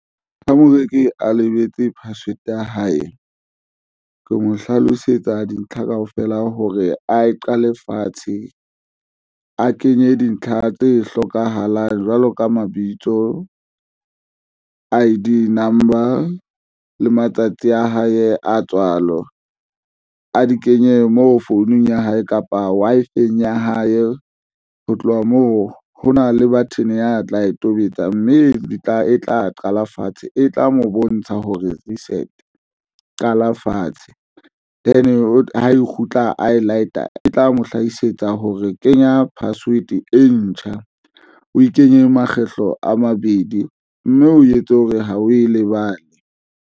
Ha moreki a lebetse password ya hae, ke mo hlalosetsa dintlha kaofela hore a e qale fatshe, a kenye dintlha tse hlokahalang jwalo ka mabitso I_D number le matsatsi a hae a tswalo a di kenye mo founung ya hae kapa Wi-Fi-eng ya hae. Ho tloha moo, ho na le button ya tla e tobetsa, mme di tla e tla qala fatshe, e tla mo bontsha ho reset qala fatshe ha e kgutla a e light-a e tla mo hlahisetsa hore kenya password e ntjha o e kenye makgetlo a mabedi mme o etse hore ha o e lebale.